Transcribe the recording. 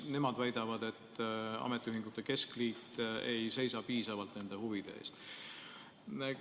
Nemad väidavad, et ametiühingute keskliit ei seisa piisavalt nende huvide eest.